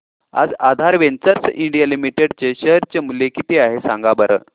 आज Aadhaar ventures India limited चे share चे मूल्य किती आहे सांगा बरं